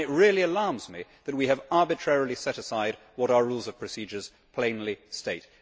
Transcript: It really alarms me that we have arbitrarily set aside what our Rules of Procedure plainly state.